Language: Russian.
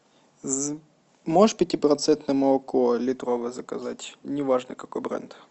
можешь пятипроцентное молоко литровое заказать неважно какой бренд